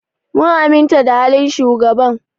Mun aminta da halin shugaban.